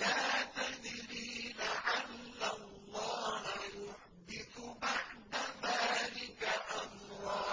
لَا تَدْرِي لَعَلَّ اللَّهَ يُحْدِثُ بَعْدَ ذَٰلِكَ أَمْرًا